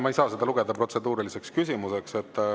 Ma ei saa seda lugeda protseduuriliseks küsimuseks.